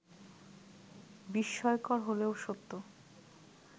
বিস্ময়কর হলেও সত্য